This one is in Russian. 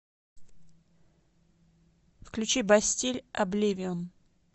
включи бастиль обливион